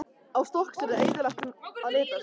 Á Stokkseyri er eyðilegt um að litast.